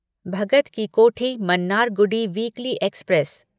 Bhagat ki Kothi Mannargudi weekly express